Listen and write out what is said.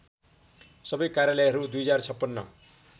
सबै कार्यालयहरू २०५६